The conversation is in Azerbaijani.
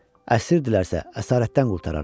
Əsirdirlərsə əsarətdən qurtararam.